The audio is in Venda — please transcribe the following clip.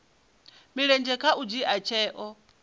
mulenzhe kha u dzhia tsheo